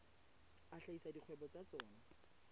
a hlahisa dikgwebo tsa tsona